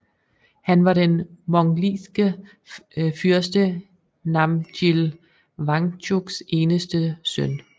Han var den mongliske fyrste Namjil Wangchuks eneste søn